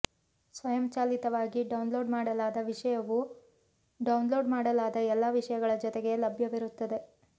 ಸ್ವಯಂಚಾಲಿತವಾಗಿ ಡೌನ್ಲೋಡ್ ಮಾಡಲಾದ ವಿಷಯವು ಡೌನ್ಲೋಡ್ ಮಾಡಲಾದ ಎಲ್ಲಾ ವಿಷಯಗಳ ಜೊತೆಗೆ ಲಭ್ಯವಿರುತ್ತದೆ